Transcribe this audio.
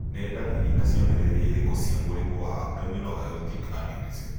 Nĩ ndariri na cionereria irĩkũ cia mũrimũ wa Abdominal aortic aneurysm?